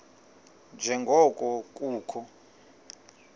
nje ngoko kukho